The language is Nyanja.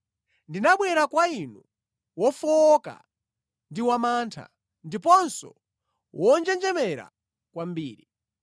Ndinabwera kwa inu wofowoka ndi wamantha, ndiponso wonjenjemera kwambiri.